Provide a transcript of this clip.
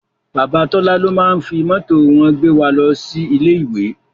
Bàbá Tọ́lá ló máá ń fi mọ́tò wọn gbé wa lọ sí ilé ìwé